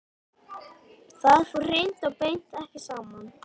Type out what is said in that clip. Það fór hreint og beint ekki saman.